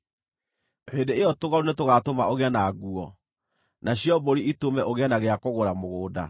hĩndĩ ĩyo tũgondu nĩtũgaatũma ũgĩe na nguo, nacio mbũri itũme ũgĩe na gĩa kũgũra mũgũnda.